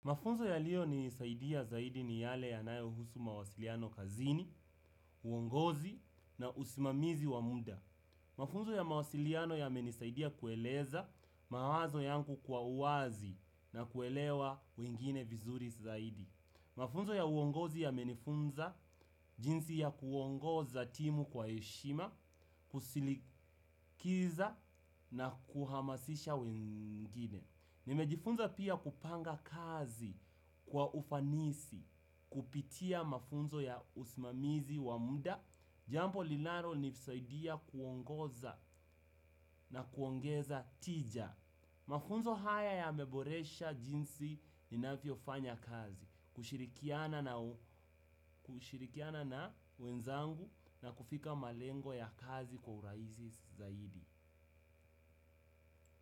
Mafunzo yaliyo ni nisaidia zaidi ni yale yanayo husu mawasiliano kazini, uongozi na usimamizi wa muda. Mafunzo ya mawasiliano yamenisaidia kueleza mawazo yangu kwa uwazi na kuelewa wengine vizuri zaidi. Mafunzo ya uongozi yamenifunza jinsi ya kuongoza timu kwa heshima, kusilikiza na kuhamasisha wengine. Nimejifunza pia kupanga kazi kwa ufanisi, kupitia mafunzo ya usmamizi wa muda, jampo linalo nisaidia kuongoza na kuongeza tija. Mafunzo haya yameboresha jinsi ninavyo fanya kazi, kushirikiana na wenzangu na kufika malengo ya kazi kwa uraizi zaidi.